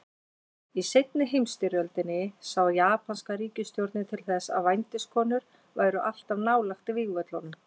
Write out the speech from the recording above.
Í seinni heimsstyrjöldinni sá japanska ríkisstjórnin til þess að vændiskonur væru alltaf nálægt vígvöllunum.